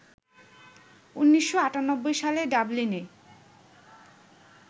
১৯৯৮ সালে ডাবলিনে